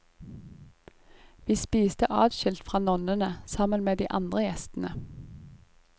Vi spiste adskilt fra nonnene sammen med de andre gjestene.